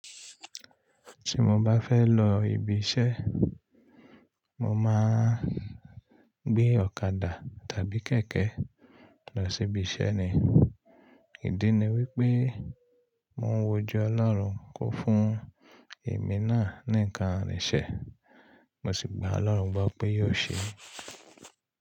Tí mo bá fẹ́ lọ ibi iṣẹ́, mo máa ń gbé ọ̀kadà tàbí kẹ̀kẹ́ lọ sí ibi iṣẹ́ ni. Ìdí ni wípé mó ń wojú ọlọ́run kó fún èmi náà ní nǹkan ìrìnsẹ̀, mo sì gbà ọlọ́run gbọ pé yóò ṣe é.